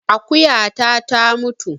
Akuyata ta mutu